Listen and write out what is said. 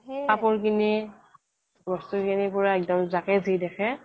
কাপোৰ কিনি বস্তু কিনি বস্তু কিনি পুৰা একদম যাকে যি দেখে